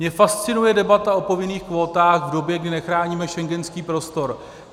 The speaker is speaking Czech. Mě fascinuje debata o povinných kvótách v době, kdy nechráníme schengenský prostor.